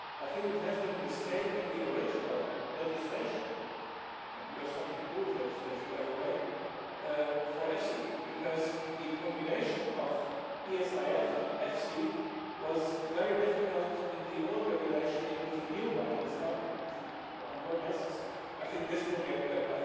I think it has been a mistake in the original legislation, and you have something to do with that legislation by the way, for EFSI, because the combination of the ESIF and EFSI was very difficult in the old regulation and with the new one that is now on your desks, I think this will get better.